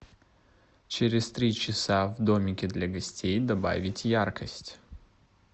через три часа в домике для гостей добавить яркость